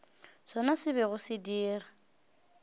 sona se bego se dira